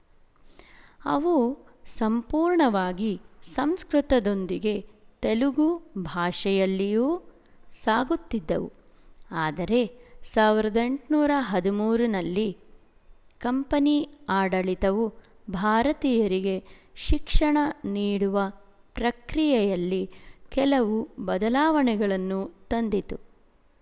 ಅವು ಸಂಪೂರ್ಣವಾಗಿ ಸಂಸ್ಕೃತ ದೊಂದಿಗೆ ತೆಲುಗು ಭಾಷೆಯಲ್ಲಿಯೂ ಸಾಗುತ್ತಿದ್ದವು ಆದರೆ ಸಾವಿರದ ಎಂಟುನೂರ ಹದಿಮೂರರಲ್ಲಿ ಕಂಪನಿ ಆಡಳಿತವು ಭಾರತೀಯರಿಗೆ ಶಿಕ್ಷಣ ನೀಡುವ ಪ್ರಕ್ರಿಯೆಯಲ್ಲಿ ಕೆಲವು ಬದಲಾವಣೆಗಳನ್ನು ತಂದಿತು